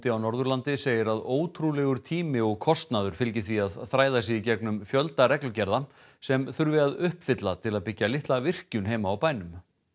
á Norðurlandi segir að ótrúlegur tími og kostnaður fylgi því að þræða sig í gegnum fjölda reglugerða sem þurfi að uppfylla til að byggja litla virkjun heima á bænum